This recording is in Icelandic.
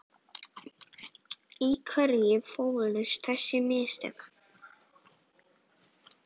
Í hverju fólust þessi mistök?